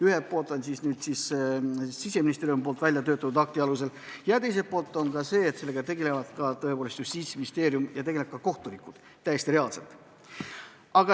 Ühelt poolt oleks siis abiks Siseministeeriumi välja töötatud akt ja teiselt poolt tegelevad sellega Justiitsministeerium ja kohtunikud.